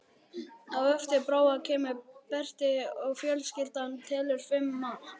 Á eftir Bróa kemur Berti og fjölskyldan telur fimm manns.